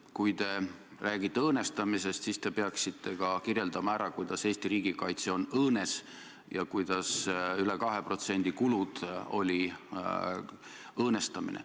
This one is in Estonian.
Kui te räägite õõnestamisest, siis peaksite ka selgitama, kuidas Eesti riigikaitse on õõnes ja kuidas üle 2%-lised kulud olid õõnestamine.